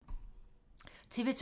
TV 2